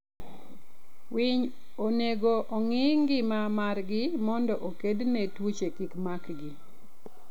winy onego ongii ngima margi mondo okedne tuoche kimakgi